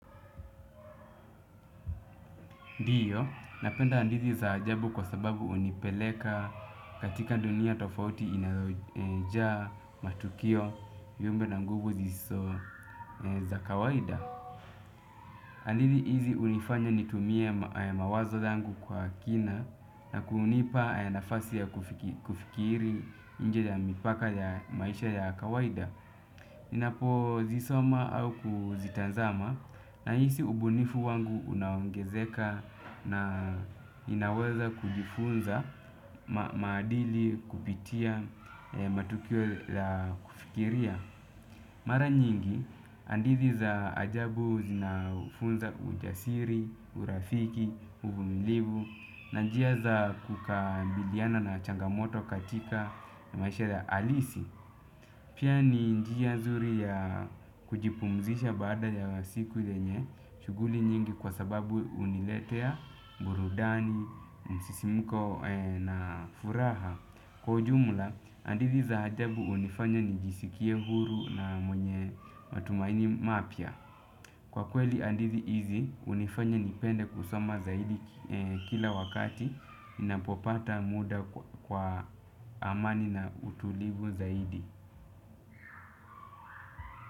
Ndiyo, napenda ndizi za ajabu kwa sababu unipeleka katika dunia tofauti inayo jaa matukio viumbe na nguvu ziso za kawaida. Hadithi hizi unifanya nitumie mawazo zangu kwa kina na kunipa nafasi ya kufikiri nje ya mipaka ya maisha ya kawaida. Ninapo zisoma au kuzitanzama nahisi ubunifu wangu unaongezeka na inaweza kujifunza maadili kupitia matukio la kufikiria. Mara nyingi, hadithi za ajabu zinafunza ujasiri, urafiki, uvumilivu na njia za kukabiliana na changamoto katika na maisha ya alisi. Pia ni njia zuri ya kujipumzisha baada ya siku yenye, shuguli nyingi kwa sababu uniletea, burudani, msisimuko na furaha. Kwa ujumula, hadithi za ajabu unifanya nijisikie huru na mwenye matumaini mapia. Kwa kweli hadithi hizi, hunifanya nipende kusoma zaidi kila wakati, ninapopata muda kwa amani na utulivu zaidi.